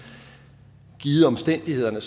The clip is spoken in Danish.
at det givet omstændighederne